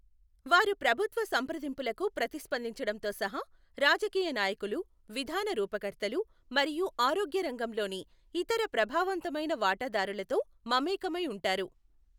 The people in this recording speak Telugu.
వారు ప్రభుత్వ సంప్రదింపులకు ప్రతిస్పందించడంతో సహా రాజకీయ నాయకులు, విధాన రూపకర్తలు మరియు ఆరోగ్య రంగంలోని ఇతర ప్రభావవంతమైన వాటాదారులతో మమేకమై ఉంటారు.